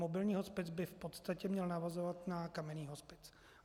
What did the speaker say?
Mobilní hospic by v podstatě měl navazovat na kamenný hospic.